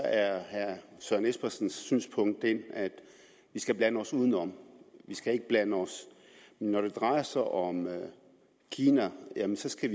herre søren espersens synspunkt det at vi skal blande os udenom vi skal ikke blande os men når det drejer sig om kina skal